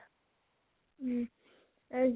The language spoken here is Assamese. উম এই